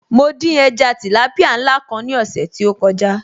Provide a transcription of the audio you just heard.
Mo dín ẹja tìlápìá ńlá kan ní ọ̀sẹ̀ tí ó kọjá